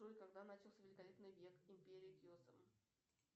джой когда начался великолепный век империя кесем